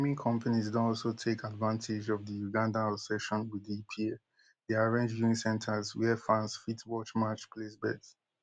companies don also take advantage of di ugandan obsession wit di epl dey arrange viewing centres wia fans fit watch match place bets